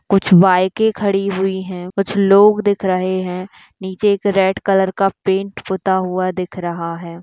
कुछ बाइके खड़ी हुई है कुछ लोग दिख रहे है नीचे एक रेड कलर का पैंट पुता हुआ दिख रहा है।